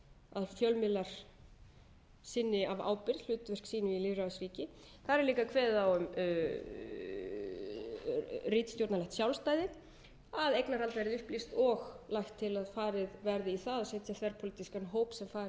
að fjölmiðlar sinni af ábyrgð hlutverki sínu í lýðræðisríki þar er líka kveðið á um ritstjórnarlegt sjálfstæðis að eignarhald verði upplýst og lagt til að farið verði í það að setja þverpólitískan hóp sem fari yfir